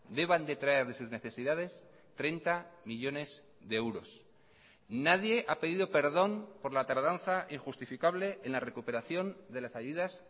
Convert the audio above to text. deban detraer de sus necesidades treinta millónes de euros nadie ha pedido perdón por la tardanza injustificable en la recuperación de las ayudas